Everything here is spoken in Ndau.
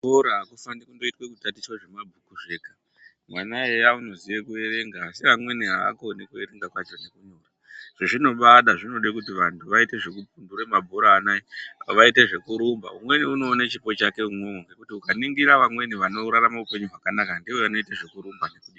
Kuchukora hakufanira kuita kutachita zvemabhuku zvega, mwana eya unoziwa kuverenga asi amweni ahaaziwe kuverenga kwacho nekunyora zvezvinobaada zvinoda kuti vantu vapumbure mabhora anaya nezvekurumba umweni unoona chipo chake imwomo nekuti ukaningira amweni anorarama upenyu hwakanaka ndeanoita zvekurumba.